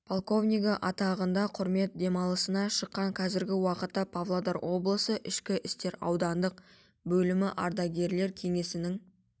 подполковнигі атағында құрмет демалысына шыққан қазіргі уақытта павлодар облысы ішкі істер аудандық бөлімі ардагерлер кеңесінің